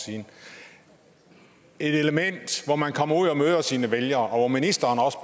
siden et element hvor man kommer ud og møder sine vælgere og hvor ministeren også